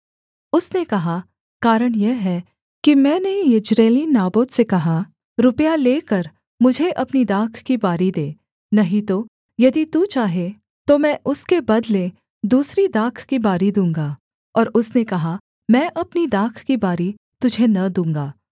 उसने कहा कारण यह है कि मैंने यिज्रेली नाबोत से कहा रुपया लेकर मुझे अपनी दाख की बारी दे नहीं तो यदि तू चाहे तो मैं उसके बदले दूसरी दाख की बारी दूँगा और उसने कहा मैं अपनी दाख की बारी तुझे न दूँगा